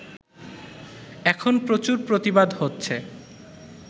এখন প্রচুর প্রতিবাদ হচ্ছে